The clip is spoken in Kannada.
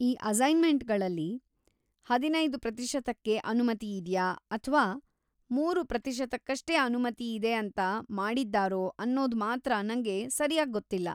ಈ ಅಸೈನ್ಮೆಂಟ್‌ಗಳಲ್ಲಿ ಹದಿನೈದು ಪ್ರತಿಶತಕ್ಕೆ ಅನುಮತಿಯಿದ್ಯಾ ಅಥ್ವಾ ಮೂರು ಪ್ರತಿಶತಕಗಷ್ಟೇ ಅನುಮತಿಯಿದೆ ಅಂತ ಮಾಡಿದ್ದಾರೋ ಅನ್ನೊದ್‌ ಮಾತ್ರ ನಂಗೆ ಸರ್ಯಾಗ್‌ ಗೊತ್ತಿಲ್ಲ.